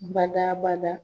Bada bada.